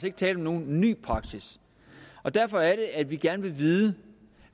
ikke tale om nogen ny praksis derfor er det at vi gerne vil vide